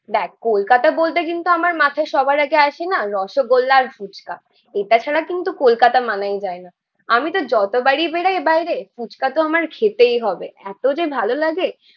দেখ কলকাতা বলতে কিন্তু আমার মাথায় সবার আগে আসে না রসগোল্লা আর ফুচকা। এটা ছাড়া কিন্তু কলকাতা মানায় যায় না। আমিতো যতবারই বেরোয় বাইরে ফুচকাতো আমার খেতেই হবে, এতো যে ভালো লাগে।